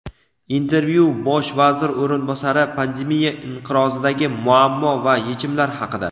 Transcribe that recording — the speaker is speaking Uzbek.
Intervyu: Bosh vazir o‘rinbosari pandemiya inqirozidagi muammo va yechimlar haqida.